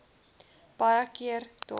baie keer dae